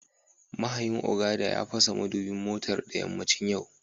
Mahayin Okada ya fasa madubin motar da yammacin yau